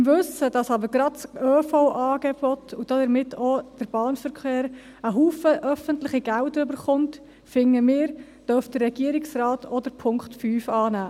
Im Wissen, dass aber gerade das ÖV-Angebot und damit auch der Bahnverkehr, viele öffentliche Gelder erhält, finden wir, dürfte der Regierungsrat auch den Punkt 5 annehmen.